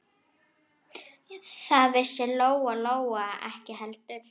Það vissi Lóa-Lóa ekki heldur.